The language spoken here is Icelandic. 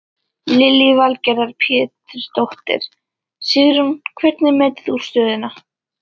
Lillý Valgerður Pétursdóttir: Sigrún hvernig metur þú stöðuna?